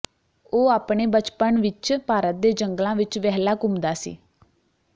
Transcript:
ਉਹ ਆਪਣੇ ਬਚਪਣ ਵਿੱਚ ਭਾਰਤ ਦੇ ਜੰਗਲਾਂ ਵਿੱਚ ਵਹਿਲਾ ਘੁੰਮਦਾ ਸੀ